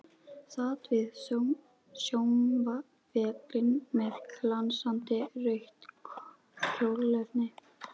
Sat við saumavélina með glansandi rautt kjólefni.